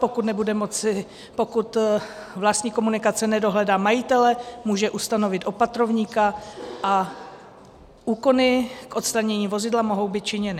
Pokud vlastník komunikace nedohledá majitele, může ustanovit opatrovníka a úkony k odstranění vozidla mohou být činěny.